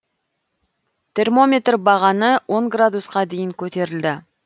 термометр бағаны он градусқа дейін көтерілді